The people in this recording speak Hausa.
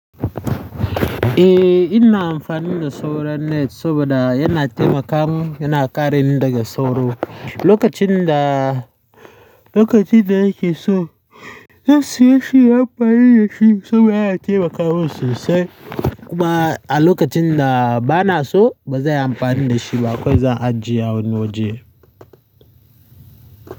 Eh, ina amfani da sauron net saboda yana taimaka mun, yana kare ni daga sauro. Lokacin da, lokacin da ya ke so zan siya shi, zan yi amfani da shi saboda yana taimaka mun sosai. Kuma a lokacin da ba na so, ba zai yi amfani da shi ba. Akwai zan ajiye wani waje.